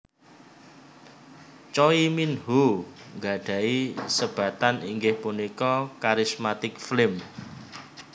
Choi Minho gadhahi sebatan inggih punika Charismatic Flame